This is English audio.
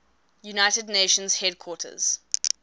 united nations headquarters